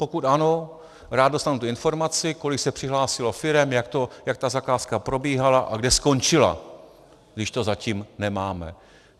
Pokud ano, rád dostanu tu informaci, kolik se přihlásilo firem, jak ta zakázka probíhala a kde skončila, když to zatím nemáme.